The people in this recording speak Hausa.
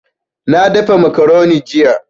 Na dafa macaroni jiya